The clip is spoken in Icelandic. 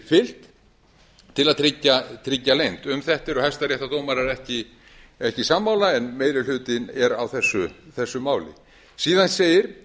fylgt til að tryggja leynd um þetta eru hæstaréttardómarar ekki sammála en meiri hlutinn er á þessu máli síðan segir